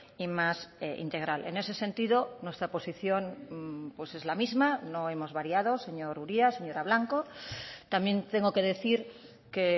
y más integral en ese sentido nuestra posición pues es la misma no hemos variado señor uria señora blanco también tengo que decir que